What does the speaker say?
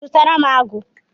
Zụtara m agu